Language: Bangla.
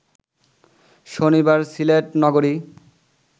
শনিবার সিলেট নগরী